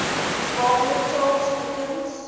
waarmee charles dickens